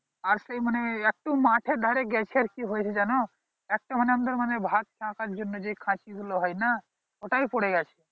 আর সেই মানে একটু মাঠে ধারে গেছে আর কি হয়েছে জানো একটা মানে আমাদের মানে ভাত ছ্যাকার জন্য যেই খাঁচি গুলো হয় না ওটাই পরে গেছে